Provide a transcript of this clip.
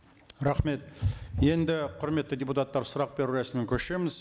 рахмет енді құрметті депутаттар сұрақ беру рәсіміне көшеміз